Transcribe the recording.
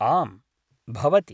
आम्, भवति।